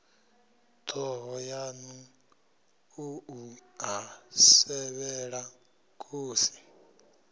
thohoyanḓ ou a sevhela khosi